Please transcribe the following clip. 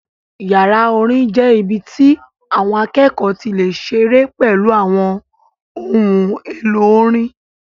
Yàrá orin jẹ́ ibi tí àwọn akẹ́kọ̀ọ́ ti lè ṣeré pẹ̀lú àwọn ohun èlò orin